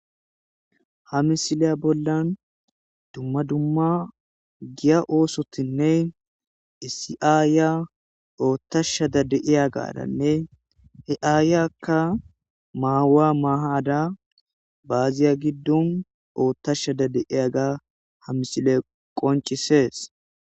ha misileya bollan dumma dumma giya oosotinne isi aayiya oottashada de iya gadanne heaayyakka maawa maahada baaziya giddon oottashada deiyaga ha misile qoncisees